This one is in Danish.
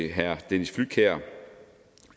herre dennis flydtkjær